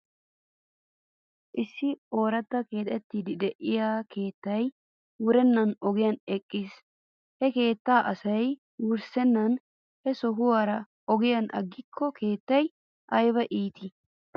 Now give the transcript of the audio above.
Issi ooratta keexetiiddi de'iyaa keetay wurennan ogiyan eqiigiis. He keettaa asay wurssennan he sohuwaara ogiyan agiigikko keettay ayba iitii .